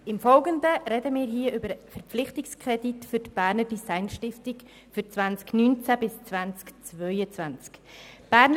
Im Folgenden sprechen wir über den Verpflichtungskredit für die Berner Design Stiftung für die Jahre 2019–2022.